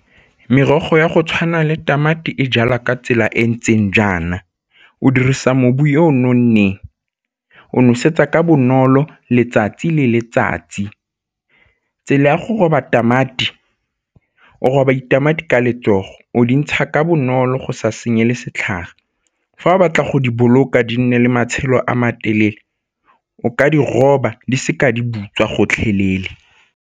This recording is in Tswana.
Merogo ya go tshwana le tamati e jalwa ka tsela e ntseng jaana, o dirisa mobu yo o nonneng, o nosetsa ka bonolo letsatsi le letsatsi. Tsela ya go roba tamati, o roba ditamati ka letsogo, o di ntsha ka bonolo go sa senye le setlhare. Fa o batla go di boloka di nne le matshelo a matelele o ka di roba di seka di butswa gotlhelele.